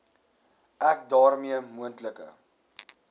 ek daarmee moontlike